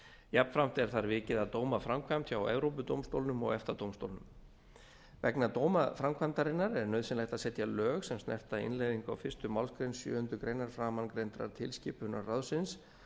jafnframt er þar vikið að dómaframkvæmd hjá evrópudómstólnum og eftadómstólnum vegna dómaframkvæmdarinnar er nauðsynlegt að setja lög sem snerta innleiðingu á fyrstu málsgrein sjöundu greinar framangreindrar tilskipunar ráðsins